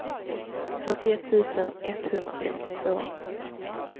fyrtioett tusen etthundrafemtiotvå